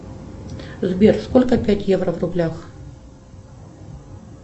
сбер сколько пять евро в рублях